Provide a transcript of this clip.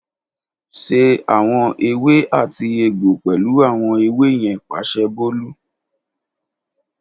Ṣe awọn ewé àti egbo pẹlu awọn ewe yẹn “Paṣẹ Bolu”